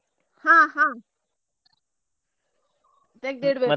ಹಾ ಹಾ .